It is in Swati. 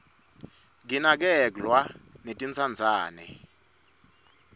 kinakerglwa netintsandzane